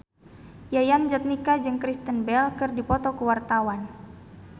Yayan Jatnika jeung Kristen Bell keur dipoto ku wartawan